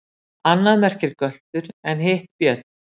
Annað merkir göltur en hitt björn.